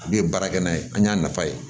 A bɛ ye baara kɛ n'a ye an y'a nafa ye